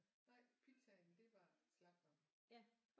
Nej pizzaen det var slagteren